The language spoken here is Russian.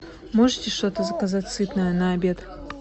можете что то заказать сытное на обед